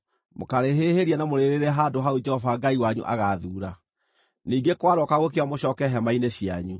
Mũkaarĩhĩhĩria na mũrĩrĩĩre handũ hau Jehova Ngai wanyu agaathuura. Ningĩ kwarooka gũkĩa mũcooke hema-inĩ cianyu.